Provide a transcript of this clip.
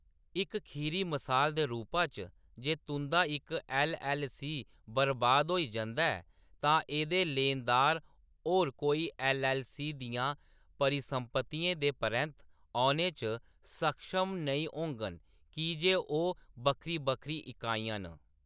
इक खीरी मसाल दे रूपा च, जे तुंʼदा इक एल. एल. सी. बरबाद होई जंदा ऐ, तां एह्‌‌‌दे लेनदार होर कोई एल. एल. सी. दियां परिसंपत्तियें दे परैंत्त औने च सक्षम नेईं होङन की जे ओह्‌‌ बक्खरी-बक्खरी इकाइयां न।